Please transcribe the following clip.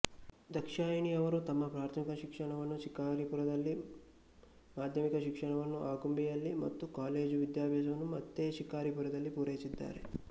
ದಾಕ್ಷಾಯಿಣಿಯವರು ತಮ್ಮ ಪ್ರಾಥಮಿಕ ಶಿಕ್ಷಣವನ್ನು ಶಿಕಾರಿಪುರದಲ್ಲಿ ಮಾಧ್ಯಮಿಕ ಶಿಕ್ಷಣವನ್ನು ಆಗುಂಬೆಯಲ್ಲಿ ಮತ್ತು ಕಾಲೇಜು ವಿದ್ಯಾಭಾಸವನ್ನು ಮತ್ತೆ ಶಿಕಾರಿಪುರದಲ್ಲಿ ಪೂರೈಸಿದ್ದಾರೆ